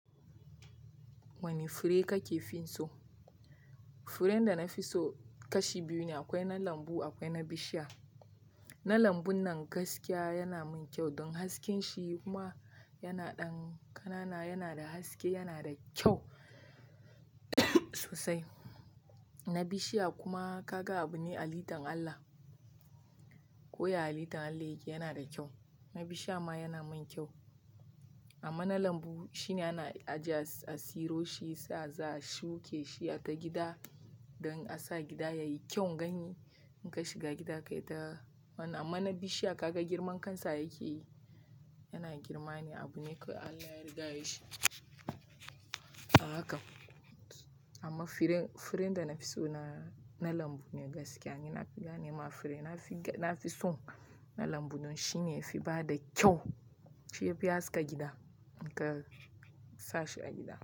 Wane fure kake fin so? Furen da na fi so kashi biyu ne, akwai na lambu akwai na bishiya. Na lambun nan gaskiya yana mun kyau don hasken shi kuma yana ɗan ƙanana, yana da haske, yana da kyau sosai. Na bishiya kuma kaga akwai halitan Allah ko ya halitan Allah yake yana da kyau. Na bishiya ma yana mun kyau. Amma na lambu shine ana ajiye a tsiro shi, sa sa a shuke shi a ta gida don a sa gida yayi kyau ganye. In ka shiga gida kai ta wannan. Amma na bishiya ka ga girman kansa yake yi, yana girma ne abu ne ko Allah ya riga yayi shi. Haka. Amma fure, furen da na fi so na, na lambu ne gaskiya. Ni na fi gane ma fure, na fi, na fi so na lambu don shi ne yafi bada kyau. Shi yafi haska gida in ka sa shi a gida.